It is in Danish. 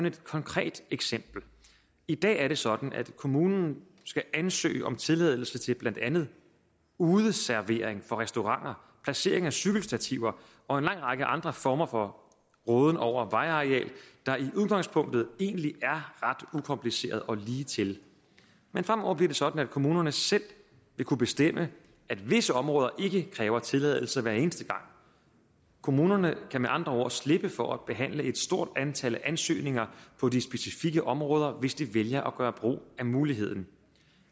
et konkret eksempel i dag er det sådan at kommunen skal ansøges om tilladelse til blandt andet udeservering for restauranter placering af cykelstativer og en lang række andre former for råden over vejareal der i udgangspunktet egentlig er ret ukompliceret og ligetil men fremover bliver det sådan at kommunerne selv vil kunne bestemme at visse områder ikke kræver tilladelse hver eneste gang kommunerne kan med andre ord slippe for at behandle et stort antal ansøgninger på de specifikke områder hvis de vælger at gøre brug af muligheden